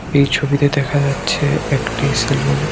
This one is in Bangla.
এই ছবিতে দেখা যাচ্ছে একটি সেলুন ।